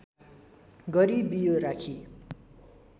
गरी बियो राखी